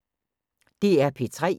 DR P3